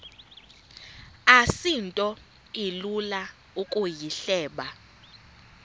asinto ilula ukuyihleba